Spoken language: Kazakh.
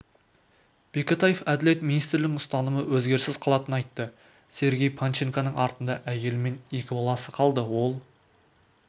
бекетаев әділет министрлігінің ұстанымы өзгеріссіз қалатынын айтты сергей панченконың артында әйелі мен екі баласы қалды ол